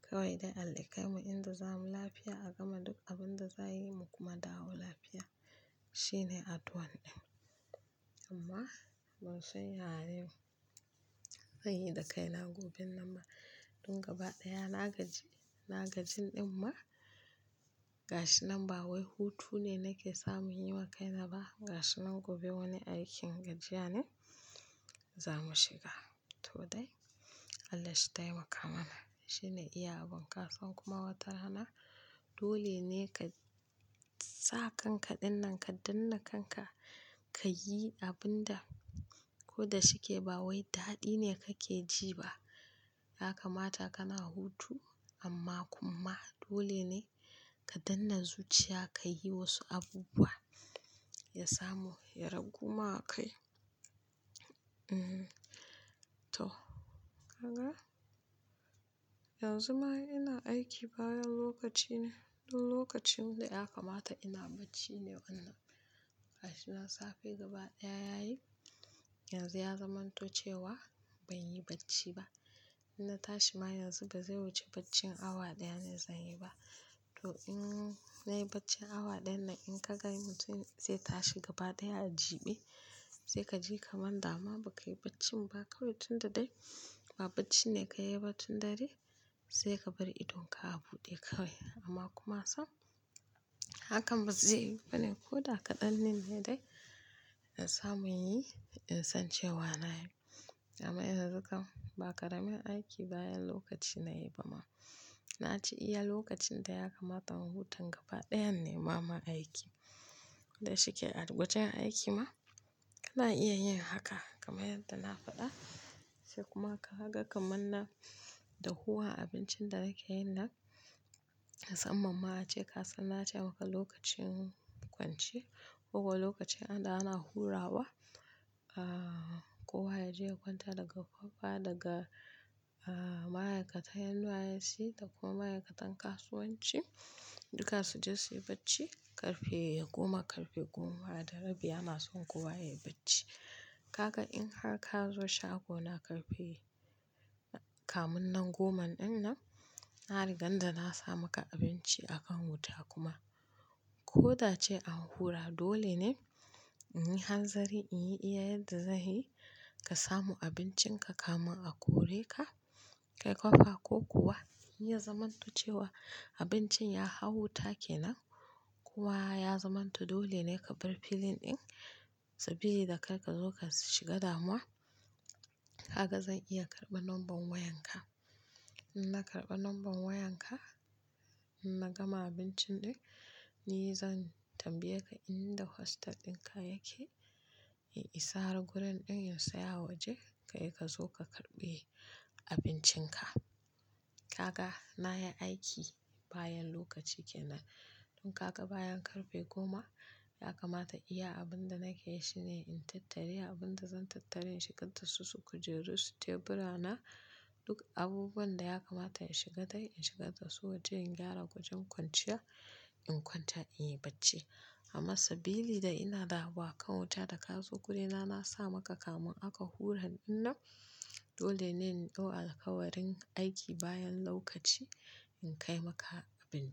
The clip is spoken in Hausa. Kawai dai Allah kai mu inda za mu lafiya, a gama duk abin da za'a mu yi, mu kuma dawo lafiya. Shi ne addu'an ɗin. Amma, ban san ya yau zan yi dakaina goben nan ma. Dun gaba ɗaya na gaji, na gaji ɗin ma. Gashi nan ba wai hutu ne nake sa mun yi wa kaina ba. Gashi nan gobe wani aikin gajiya ne za mu shiga. To dai Allah shi taimaka mana, shine iya abun. Kasan kuma wata rana, dole ne kasa kanka dinnan, ka danne kanka, kayi abunda, ko da shike ba wai dadi ne kake ji ba ya kamata kana hutu amma kuma dole ne ka dannan zuciya ka yi wasu abubuwa ya samu ya raguma kai. Eeh, to. Ka ga? Yanzu ma ina aiki bayan lokaci ne. Don lokacin da ya kamata ina bacci ne wannan. Gashinan safe gaba daya yayi, yanzu ya zamanto cewa ban yi bacci ba. In na tashi ma yanzu ba zai wuce baccin awa ɗaya na zan yi ba. To in nayi baccin awa ɗayan nan, in ka gan mutun zai tashi gaba ɗaya a jiɓe, sai ka ji kaman dama ba ka yi bacci ba, kawai tun da dai ba bacci ne ka yi ba tun dare, sai ka bar idonka a buɗe kawai. Amma kuma sam hakan ba zai yiwu ba ne ko da kaɗan din ne dai in samu yin in san cewa na yi. Amma yanzu kam ba karamin aiki bayan lokaci na yi ba ma. Naci iya lokacin da ya kamata in hutan gaba dayan ne ma, ma aiki ko da shike a gwajen aiki ma, kana iya yin haka, kamar yadda na faɗa. Sai kuma ka ga kaman na dahuwa abincin da kake yin nan. Musammam ma ace, ka san na ce maka lokacin kwance ko kuwa lokacin ana, ana hurawa, ahh, kowa ya je ya kwanta daga ƙofa, daga, ahh, ma'aikatan NYSC, da kuma ma'aikatan kasuwanci, duka suje su yi bacci. Karfe goma, karfe goma da rabi ana so kowa ya yi bacci. Ka ga in har ka zo shago na karfe, kamin nan goman dinnan, na rigan da na sa maka abinci a kan wuta kuma ko da ce an hura dole ne in yi hanzari in yi iya yadda zai yi ka samu abincin ka, kamun kore ka kai kopa ko kuwa, in ya zamanto cewa abincin ya hau wuta kenan, kuwa ya zamanto dole ne ka bar filin ɗin sabili da karka zo ka shiga damuwa. Kaga zan iya karban nambar wayar ka In na karɓa number wayan ka, in na gama abincin ɗin, ni zan tambaye ka inda hostel ɗin ka yake, in isa har gurin ɗin in saya waje, kai ka zo ka karɓi abincin ka. Ka ga? Na yi aiki bayan lokaci kenan. Don kaga bayan karfe goma, ya kamata iya abin da nake yi shi ne in tattare abin da zan tattare, in shigar dasu, su kujeru, su tebura na, duk abubuwan da ya kamata in shiga dai in shiga dasu waje in gyara gwajen kwanciya, in kwanta in yi bacci. Amma sabili da ina da abu akan wuta da ka zo guri na, na sa maka kamun aka hura ɗin nan, dole ne in ɗau alƙawarin aiki bayan lokaci in kai maka abinci.